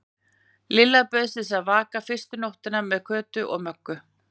Lilla bauðst til að vaka fyrstu nóttina með Kötu og Möggu.